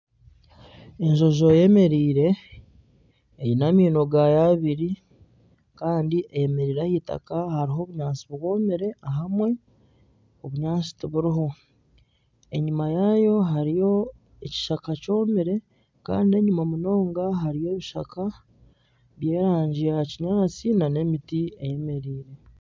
Enjojo eyemereire eine amaino gayo abiri kandi eyemereire ah'eitaka hariho obunyaatsi bwomire ahamwe obunyaatsi tiburiho. Enyima yayo hariyo ekishaka kyomire kandi enyima munonga hariyo ebishaka by'erangi ya kinyaatsi n'emiti eyemereire.